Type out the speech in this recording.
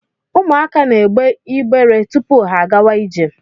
Ụmụaka na egbe igbere tupu ha agawa ije.